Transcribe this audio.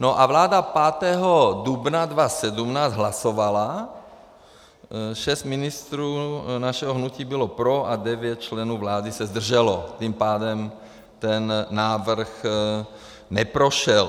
No a vláda 5. dubna 2017 hlasovala, šest ministrů našeho hnutí bylo pro a devět členů vlády se zdrželo, tím pádem ten návrh neprošel.